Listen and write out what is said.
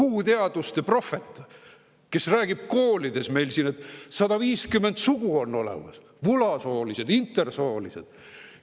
Uhhuu-teaduste prohvet, kes räägib koolides meil siin, et 150 sugu on olemas, vulasoolised, intersoolised.